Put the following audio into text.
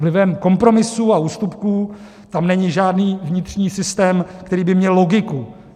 Vlivem kompromisů a ústupků tam není žádný vnitřní systém, který by měl logiku.